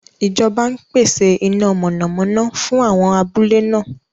Ìjọba ń pèsè iná mọ̀nàmọ́ná fún àwọn abúlé náà.